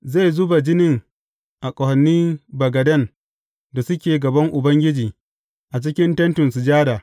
Zai zuba jinin a ƙahonin bagaden da suke gaban Ubangiji a cikin Tentin Sujada.